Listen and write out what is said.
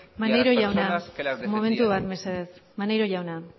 y a las personas que la defendían maneiro jauna momentu bat mesedez maneiro jauna